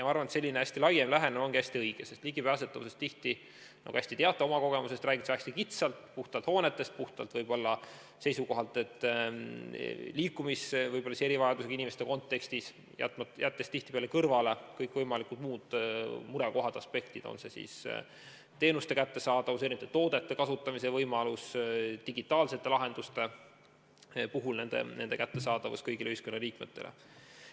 Ma arvan, et selline laiem lähenemine ongi hästi õige, sest tihti räägitakse ligipääsetavusest, nagu hästi teate oma kogemustest, väga kitsalt, puhtalt hoonetest lähtuvalt, pidades silmas erivajadusega inimeste liikumist ja jättes kõrvale kõikvõimalikud muud murekohad ja aspektid, on see siis teenuste kättesaadavus, erinevate toodete kasutamise võimalus, digitaalsete lahenduste puhul nende kättesaadavus kõigile ühiskonnaliikmetele.